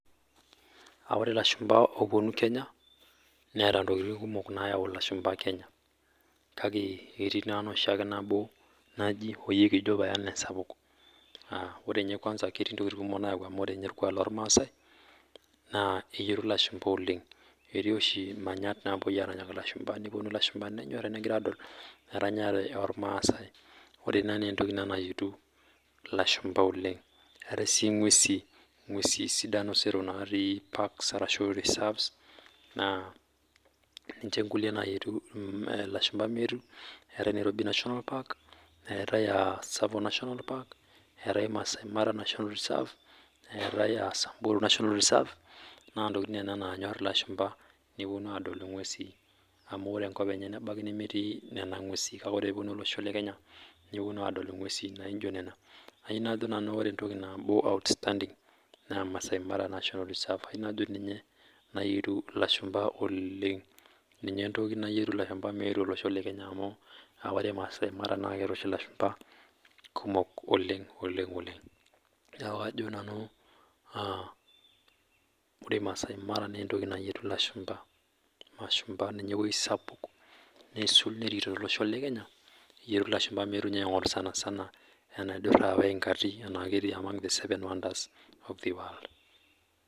Aaa ore lashumpa opuonu kenya neeta ntokikitin kumok naayau lashumpa kenya kake ore ketii naa enoshiake nabo naji oyie kijo paye ena esapuk aah ore ninye kwanza ketii ntokikitin kumok nayau amu ore ninye orkwak loo rmasai naa enyorr lashumpa oleng etii oshi manyatt naapuoi aranyaki lashumpa nepuonu lashumpa neyorr lashumpa egira adol eranyare oo lmasai ore ina naa entoki ina nayietu lashumpa oleng eetai sii nguesi sidan napii parks arashu reserves naa ninche nkulie naayietu lashumpa meetu etai Nairobi National park, eetae aah Tsavo National park eetae masaimara National Reserve eetae aah samburu National Reserve naa ntokikitin nena naanyorr lashumpa nepuonu adol nguesi amu ore enkop enye nebaiki nemetii nena nguesi kake ore pee epuonu olosho le kenya nepuonu adol nguesi naijo nena ayie najo nanu ore entoki nabo outstanding naa Masaimara National Reserve ayie najo ninye naaji airuk lashumpa oleng ninye entoki nayietu lashumpa meetu olosho le kenya amu aa ore masaimara naa keeta oshi lashumpa kumok oleng niaku kajo nanu aah ore masaimara naa entoki nayietu lashumpa ninye eewueji sapuk aisul to losho le kenya meetu aingorr ninye sanisana enaidurra oo ingati amu ketii ninye among the seven wonders of the world